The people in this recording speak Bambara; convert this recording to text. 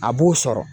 A b'u sɔrɔ